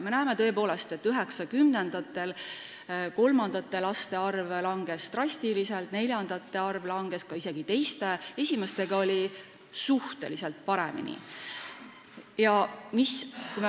Me näeme, et 1990-ndatel kolmandate laste arv langes drastiliselt, neljandate arv langes ka ning isegi teiste laste arv vähenes, esimeste lastega oli olukord suhteliselt parem.